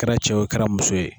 kɛra cɛ o kɛra muso ye.